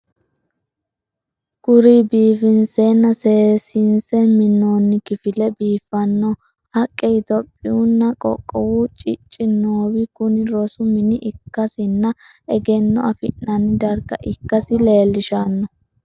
Kuri biifinsenna seesinse minnonni kifilla, biifanno haqqe, itiyopiyunna qoqqowu cicci noowi kuni rosu mine ikkasinna egenno afi'nanni darga ikkasi leellishanno.